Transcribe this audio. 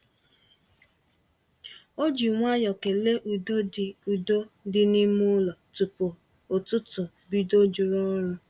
Ọ ji nwayọọ kele udo dị udo dị n’ime ụlọ tupu ụtụtụ bido juru ọrụ.